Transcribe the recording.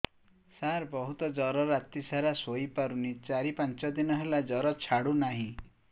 ସାର ବହୁତ ଜର ରାତି ସାରା ଶୋଇପାରୁନି ଚାରି ପାଞ୍ଚ ଦିନ ହେଲା ଜର ଛାଡ଼ୁ ନାହିଁ